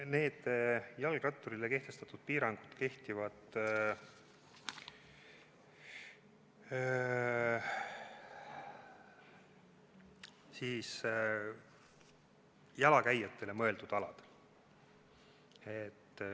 Need jalgratturile kehtestatud piirangud kehtivad jalakäijatele mõeldud aladel.